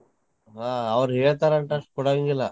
ಹಾ ಅವ್ರ್ ಹೇಳ್ತಾರ್ ಅಂತಂದ್ ಕೊಡಂಗಿಲ್ಲ.